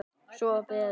Svo var beðið.